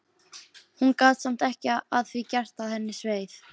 Hún gat samt ekki að því gert að henni sveið.